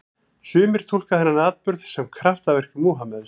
Sumir túlka þann atburð sem kraftaverk Múhameðs.